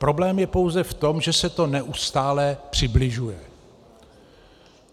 Problém je pouze v tom, že se to neustále přibližuje.